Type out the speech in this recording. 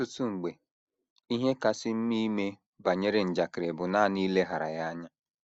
Ọtụtụ mgbe, ihe kasị mma ime banyere njakịrị bụ nanị ileghara ya anya.